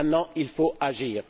Maintenant il faut agir!